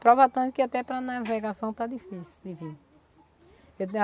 Prova tanto que até para navegação está difícil de vir.